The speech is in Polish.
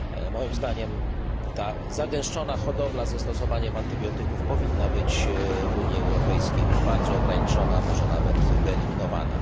Moim zdaniem ta zagęszczona hodowla ze stosowaniem antybiotyków powinna być w Unii Europejskiej bardzo ograniczona, a może nawet wyeliminowana.